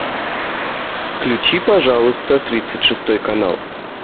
включи пожалуйста тридцать шестой канал